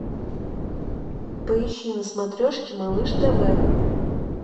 поищи на смотрешке малыш тв